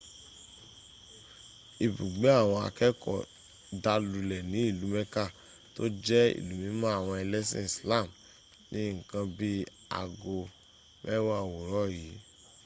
ibùgbé àwọn akẹ́ẹ̀kọ́ dà lulẹ̀ ní ìlú mecca tó jẹ́ ìlú mímọ́ àwọn ẹlẹ́sìn islam ní nǹkan bí i aago mẹ́wàá òwúrọ̀ yìí